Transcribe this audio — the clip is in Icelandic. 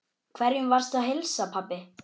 Hverjum varstu að heilsa, pabbi?